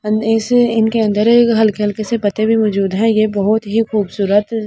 इनके अंदर एक हल्के-हल्के से पत्ते भी मौजूद हैं ये बहुत ही खूबसूरत--